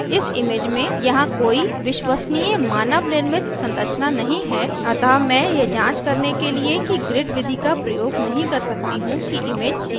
इस image में यहाँ कोई विश्वसनीय मानव निर्मित संरचना नहीं है अतः मैं यह जांच करने के लिए कि grid विधि का प्रयोग नहीं कर सकती हूँ कि image सीधी है